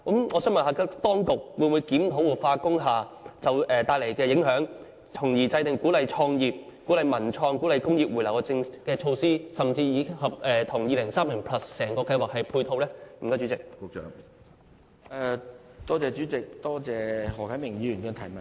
我想問當局會否檢討活化工廈帶來的影響，從而制訂鼓勵創業、文創、工業回流的措施，甚至與《香港 2030+： 跨越2030的規劃遠景與策略》整個計劃作出配套呢？